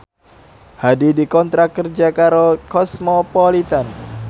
Hadi dikontrak kerja karo Cosmopolitan